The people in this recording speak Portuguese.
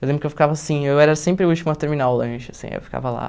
Eu lembro que eu ficava assim, eu era sempre o último a terminar o lanche, assim, eu ficava lá.